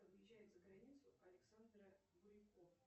выезжает за границу александра бурико